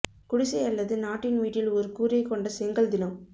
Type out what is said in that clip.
குடிசை அல்லது நாட்டின் வீட்டில் ஒரு கூரை கொண்ட செங்கல் தினம்